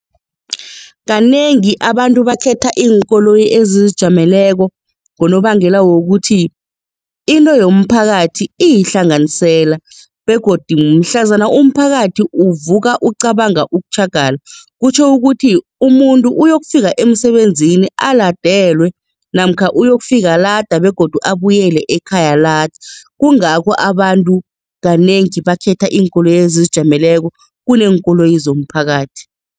Kanengi abantu bakhetha iinkoloyi ezizijameleko ngonobangela wokuthi into yomphakathi iyihlanganisela begodu mhlazana umphakathi uvuka ucabanga ukutjhagala kutjho ukuthi umuntu uyokufika emsebenzini aladelwe namkha uyokufika lada begodu abuyele ekhaya lada kungakho abantu kanengi bakhetha iinkoloyi ezizijameleko kuneenkoloyi zomphakathi.